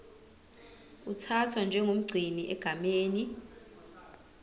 uthathwa njengomgcini egameni